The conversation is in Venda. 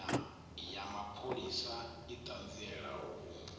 ya mapholisa i ṱanzielaho u